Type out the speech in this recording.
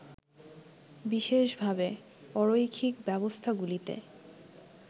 বিশেষভাবে, অরৈখিক ব্যবস্থাগুলিতে